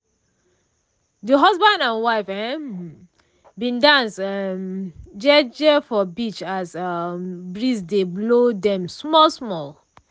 de husband and wife um bin dance um jeje for beach as breeze dey blow dem small small